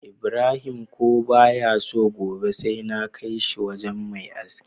Ibrahim ko baya so gobe sai na kai shi wajan Me aski